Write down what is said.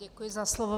Děkuji za slovo.